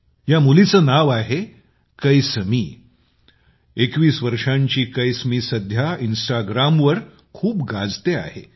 या मुलीचे नाव आहे कैसमी 21 वर्षांची कैसमी सध्या इंस्टाग्रामवर खूप गाजतेय